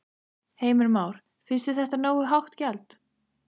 Heimir Már: Finnst þér þetta nógu hátt gjald?